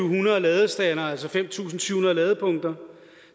hundrede ladestandere altså fem tusind syv hundrede ladepunkter